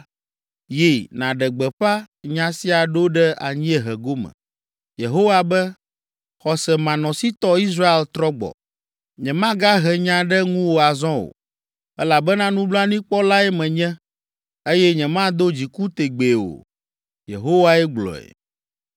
Yi, nàɖe gbeƒã nya sia ɖo ɖe anyiehe gome. Yehowa be, “ ‘Xɔsemanɔsitɔ Israel trɔ gbɔ. Nyemagahe nya ɖe ŋuwò azɔ o elabena nublanuikpɔlae menye eye nyemado dziku tegbee o.’ Yehowae gblɔe.